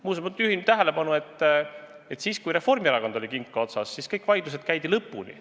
Muuseas, ma juhin tähelepanu, et siis, kui Reformierakond oli künka otsas, käidi kõik vaidlused lõpuni.